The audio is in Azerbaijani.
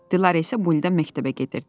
Dilarə isə bu ildən məktəbə gedirdi.